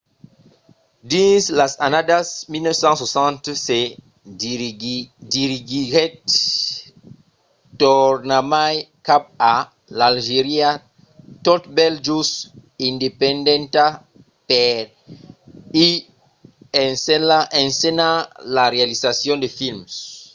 dins las annadas 1960 se dirigiguèt tornarmai cap a l’algèria tot bèl just independenta per i ensenhar la realizacion de films